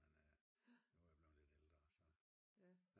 Men nu er jeg blevet lidt ældre så